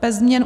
- Bez změn